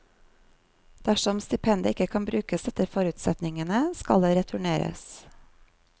Dersom stipendet ikke kan brukes etter forutsetningene, skal det returneres.